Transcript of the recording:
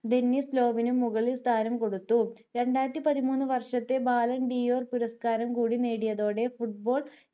Dennis ലോവിനു മുകളിൽ സ്ഥാനം കൊടുത്തു രണ്ടായിരത്തി പതിമൂന്നു വർഷത്തെ violento യോ പുരസ്കാരം കൂടി നേടിയതോടെ football